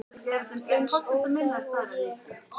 Eins óþæg og ég?